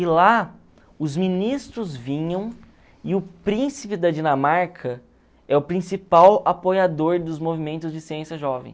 E lá, os ministros vinham e o príncipe da Dinamarca é o principal apoiador dos movimentos de ciência jovem.